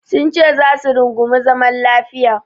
Sunce za su rungumi zaman lafiya.